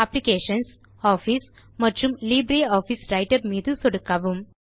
applications office மற்றும் LibreOffice writer மீது சொடுக்கவும்